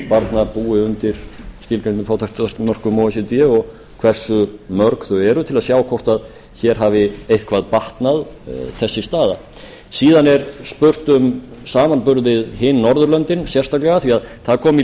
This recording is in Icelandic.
barna búi undir skilgreindum fátæktarmörkum o e c d og hversu mörg þau eru til að sjá hvort þessi staða hafi eitthvað batnað hér síðan er spurt um samanburð við hin norðurlöndin sérstaklega því að það kom í